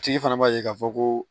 A tigi fana b'a ye k'a fɔ ko